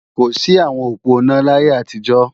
kò sí àwọn òponá láyé àtijó